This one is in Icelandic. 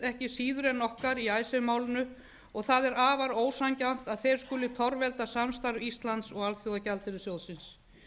ekki síður en okkar í icesave málinu og það er afar ósanngjarnt að þeir skuli torvelda samstarf íslands og alþjóðagjaldeyrissjóðsins